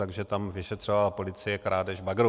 Takže tam vyšetřovala policie krádež bagru.